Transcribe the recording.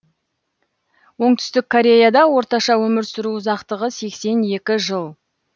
оңтүстік кореяда орташа өмір сүру ұзақтығы сексен екі жыл